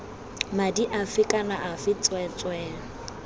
madi afe kana afe tsweetswee